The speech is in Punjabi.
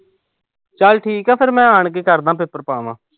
ਚਲ ਠੀਕ ਆ ਫਿਰ ਮੈਂ ਆਣ ਕੇ ਕਰਦਾਂ। ਪੇਪਰ ਪਾ ਆਵਾਂ।